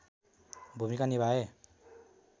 भूमिका निभाए